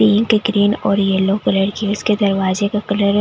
Pink green और yellow colour gates दरवाजे का कलर है।